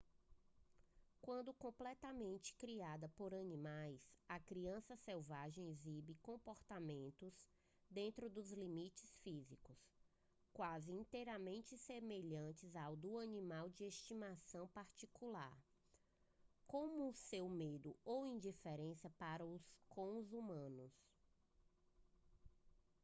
quando completamente criada por animais a criança selvagem exibe comportamentos dentro dos limites físicos quase inteiramente semelhantes aos do animal de estimação particular como seu medo ou indiferença para com os humanos